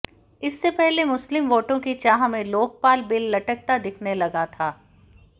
इससे पहले मुस्लिम वोटों की चाह में लोकपाल बिल लटकता दिखने लगा था